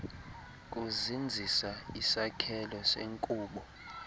kuzinzisa isakhelo senkubo